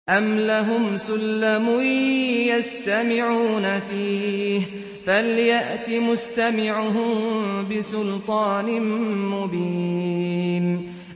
أَمْ لَهُمْ سُلَّمٌ يَسْتَمِعُونَ فِيهِ ۖ فَلْيَأْتِ مُسْتَمِعُهُم بِسُلْطَانٍ مُّبِينٍ